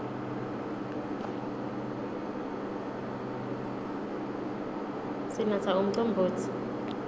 sinatsa umcombotsi